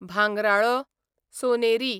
भांगराळो, सोनेरी